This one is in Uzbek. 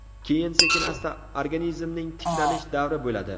Keyin sekin-asta organizmning tiklanish davri bo‘ladi.